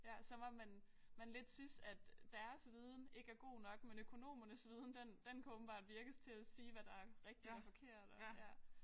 Ja så må man man lidt synes at deres viden ikke er god nok men økonomernes viden den den kan åbenbart virkes til at sige hvad der rigtigt og forkert og ja